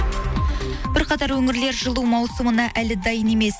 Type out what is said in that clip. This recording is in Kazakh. бірқатар өңірлер жылу маусымына әлі дайын емес